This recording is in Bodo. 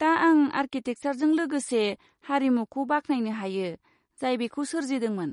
दा आं आरकिटेकसारजों लोगोसे हारिमुखौ बाखनायनो हायो जाय बेखौ सोरजिदोंमोन।